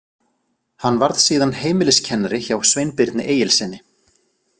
Hann varð síðan heimiliskennari hjá Sveinbirni Egilssyni.